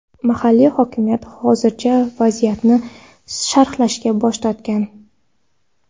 Mahalliy hokimiyat hozircha vaziyatni sharhlashdan bosh tortgan.